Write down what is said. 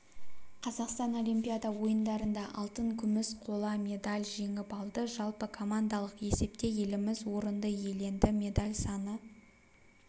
қазақстан олимпиада ойындарында алтын күміс қола медаль жеңіп алды жалпыкомандалық есепте еліміз орынды иеленді медаль саны